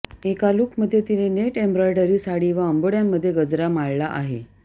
एका लुकमध्ये तिने नेट एम्ब्रॉयडरी साडी व अंबोड्यामध्ये गजरा माळला आहे